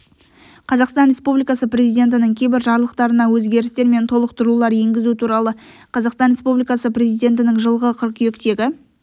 қазақстан республикасы президентінің кейбір жарлықтарына өзгерістер мен толықтырулар енгізу туралы қазақстан республикасы президентінің жылғы қыркүйектегі